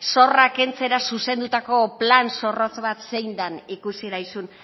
zorra kentzera zuzendutako plan zorrotz bat zein dan ikusi daizun